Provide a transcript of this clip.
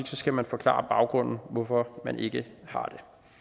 så skal man forklare baggrunden for at man ikke har